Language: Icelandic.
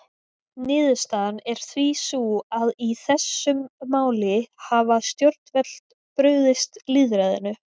Niðurstaðan er því sú að í þessum máli hafa stjórnvöld brugðist lýðræðinu.